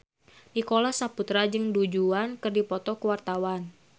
Nicholas Saputra jeung Du Juan keur dipoto ku wartawan